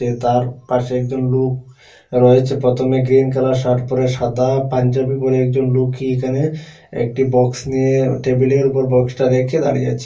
তার পাশে একজন লোক রয়েছে প্রথমে গ্রীন কালার শার্ট পরে সাদা পাঞ্জাবি পরে একজন লুকি এখানে একটি বক্স নিয়ে টেবিলের উপর বক্সটা রেখে দাঁড়িয়ে আছে।